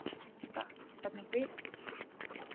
Linda: Hvernig vitið þið það?